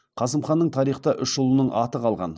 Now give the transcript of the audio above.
қасым ханның тарихта үш ұлының аты қалған